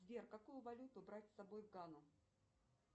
сбер какую валюту брать с собой в гану